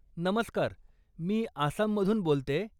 नमस्कार, मी आसाममधून बोलतेय.